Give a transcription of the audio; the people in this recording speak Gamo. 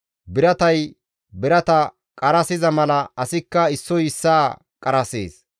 Biratay birata qarasiza mala asikka issoy issaa qarasees.